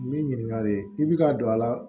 Min ɲininkare i bɛ ka don a la